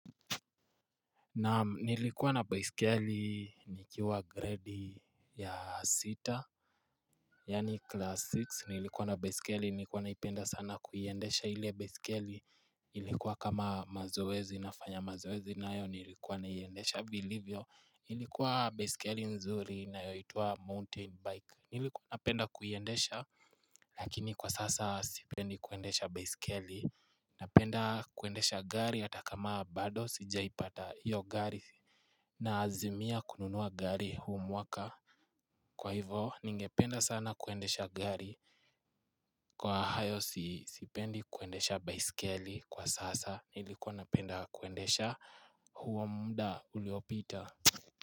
Naam, nilikuwa na baiskeli nikiwa gredi ya sita, yaani class six, nilikuwa na baiskeli, nilikuwa naipenda sana kuiendesha ile baiskeli, nilikuwa kama mazoezi, nafanya mazoezi nayo, nilikuwa naiendesha vilivyo, ilikuwa baiskeli nzuri inayoitwa mountain bike. Nilikuwa napenda kuiendesha lakini kwa sasa sipendi kuendesha baisikeli Napenda kuendesha gari hata kama bado sijaipata hiyo gari Naazimia kununua gari huu mwaka Kwa hivyo ningependa sana kuendesha gari, kwa hayo si sipendi kuendesha baisikeli kwa sasa nilikuwa napenda kuendesha huo muda uliopita.